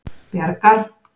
Bjargar